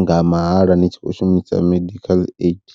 nga mahala ni tshi kho shumisa medikhaḽa aidi.